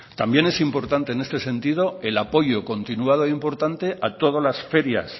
también es importante en este sentido el apoyo continuado e importante a todas las ferias